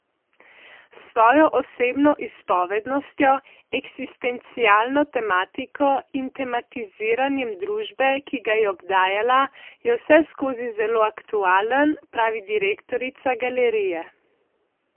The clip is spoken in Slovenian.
S svojo osebno izpovednostjo, eksistencialno tematiko in tematiziranjem družbe, ki ga je obdajala, je vseskozi zelo aktualen, pravi direktorica galerije.